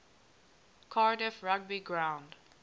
cardiff rugby ground